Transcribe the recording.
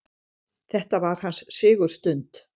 Þetta var hans sigurstund.